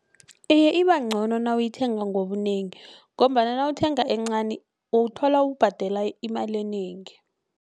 Iye ibangcono nawuyithenga ngobunengi ngombana nawuthenga encani uwuthola ubhadela imali enengi.